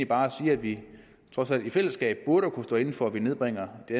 bare siger at vi trods alt i fællesskab burde kunne stå inde for at man nedbringer de